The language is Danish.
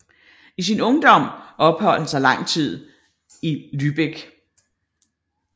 I sin ungdom opholdt han sig en tid lang i Lübeck